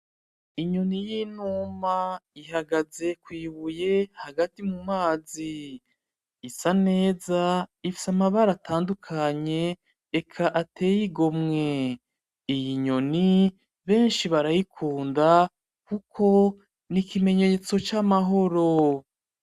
Inyoni y'inuma ihagaze kwibuye hagati mu mazi isa neza ifise amabara atandukanye, eka ateye igomwe, iyi nyoni benshi barayikunda kuko ni ikimenyetso c'amahoro.